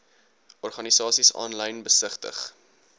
organisasies aanlyn besigtig